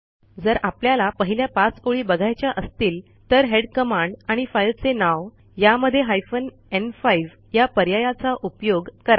जर आपल्याला पहिल्या 5 ओळी बघायच्या असतील तर हेड कमांड आणि फाईलचे नाव यामध्ये हायफेन न्5 या पर्यायाचा उपयोग करा